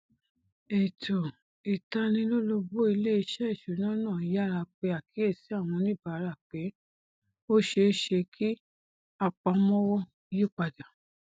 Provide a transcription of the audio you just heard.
ètò ìtanilólobó iléeṣẹ ìṣúná náà yára pè àkíyèsí àwọn oníbàárà pé ó ṣeéṣe kí àpamọwọ yípadà